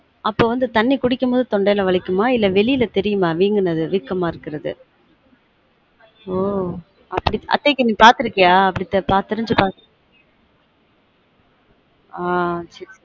அப்ப வந்து தண்ணி குடிக்கும் போது தொண்டை ல வலிக்குமா இல்ல வெளில தெரியுமா வீங்குனது வீக்கமா இருக்குரது